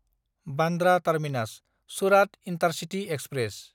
Bandra टार्मिनास–सुरात intercity express